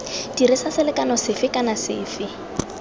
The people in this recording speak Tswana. dirisa selekano sefe kana sefe